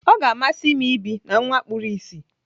Ọ ga-amasị m ibi na nwa kpuru ìsì.